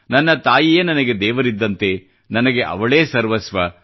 ನನ್ನ ತಾಯಿಯೇ ನನಗೆ ದೇವರಿದ್ದಂತೆ ನನಗೆ ಅವಳೇ ಸರ್ವಸ್ವ